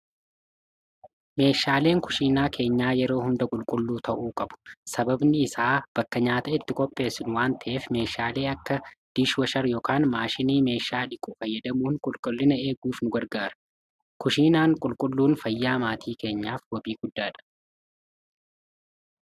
meeshaaleen kushiinaa keenyaa yeroo hunda qulqulluu ta'uu qabu sababni isaa bakka nyaata itti kopheessun waanta'eef meeshaalee akka diishwashar ykn maashinii meeshaa dhiqu fayyadamuun qulqullina eeguuf nugargaara kushiinaan qulqulluun fayyaa maatii keenyaaf wabii guddaadha